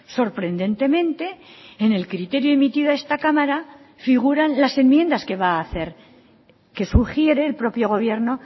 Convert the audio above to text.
sorprendentemente en el criterio emitido a esta cámara figuran las enmiendas que va a hacer que sugiere el propio gobierno